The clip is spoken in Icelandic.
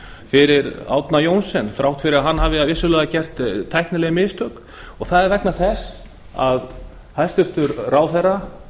fyrir árna johnsen þrátt fyrir að hann hafi vissulega gert tæknileg mistök það er vegna þess að hæstvirtur ráðherra